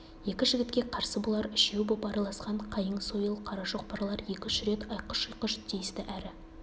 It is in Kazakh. екі жігітке қарсы бұлар үшеу боп араласқан қайың сойыл қара шоқпарлар екі-үш рет айқұш-ұйқыш тиісті әрі